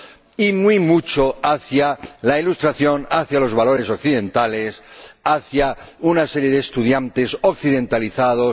y muy mucho hacia la Ilustración, hacia los valores occidentales, hacia una serie de estudiantes occidentalizados